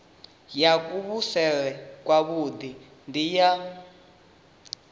ya kuvhusele kwavhui ndi ya